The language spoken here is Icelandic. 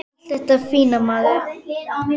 Allt þetta fína, maður.